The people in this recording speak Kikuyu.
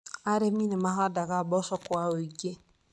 Arĩmi nĩ mahandaga mboco kwa ũingĩ.